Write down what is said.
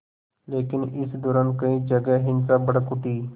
लेकिन इस दौरान कई जगह हिंसा भड़क उठी